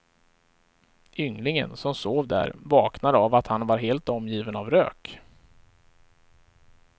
Ynglingen som sov där vaknade av att han var helt omgiven av rök.